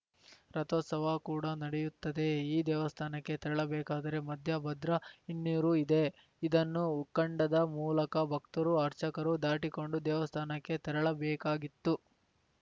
ರಥೋತ್ಸವ ಕೂಡ ನಡೆಯುತ್ತದೆ ಈ ದೇವಸ್ಥಾನಕ್ಕೆ ತೆರಳಬೇಕಾದರೆ ಮಧ್ಯೆ ಭದ್ರಾ ಹಿನ್ನೀರು ಇದೆ ಇದನ್ನು ಉಕ್ಕಂಡದ ಮೂಲಕ ಭಕ್ತರು ಅರ್ಚಕರು ದಾಟಿಕೊಂಡು ದೇವಸ್ಥಾನಕ್ಕೆ ತೆರಳಬೇಕಾಗಿತ್ತು